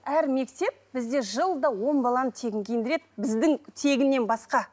әр мектеп бізде жылда он баланы тегін киіндіреді біздің тегіннен басқа